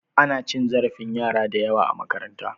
Ana cin zarafin yara da yawa a makaranta.